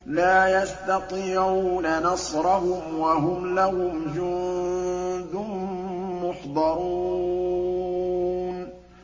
لَا يَسْتَطِيعُونَ نَصْرَهُمْ وَهُمْ لَهُمْ جُندٌ مُّحْضَرُونَ